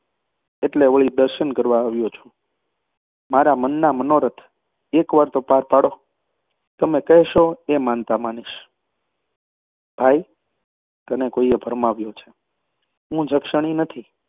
એટલે વળી દરશન કરવા આવ્યો છું. મારા મનના મનોરથ એક વાર તો પાર પાડો. તમે કહેશો એ માનતા માનીશ. ભાઈ, તને કોઈએ ભરમાવ્યો છે. હું જક્ષણી નથી.